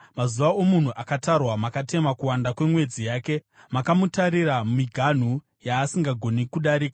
Mazuva omunhu akatarwa; makatema kuwanda kwemwedzi yake, mukamutarira miganhu yaasingagoni kudarika.